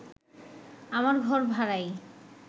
আমার ঘর ভাড়াই